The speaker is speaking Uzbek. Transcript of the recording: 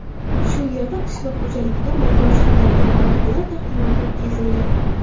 Shu yerda qishloq xo‘jaligida amalga oshiriladigan loyihalar taqdimoti o‘tkazildi.